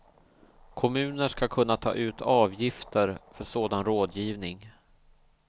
Kommuner ska kunna ta ut avgifter för sådan rådgivning.